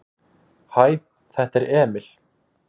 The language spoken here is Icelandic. """Hæ, þetta er Emil."""